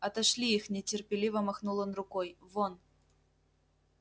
отошли их нетерпеливо махнул он рукой вон